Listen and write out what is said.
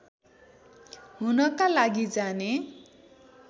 हुनका लागि जाने